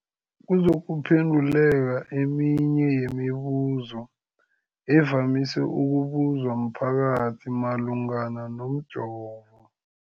kuzokuphe nduleka eminye yemibu zo evamise ukubuzwa mphakathi malungana nomjovo.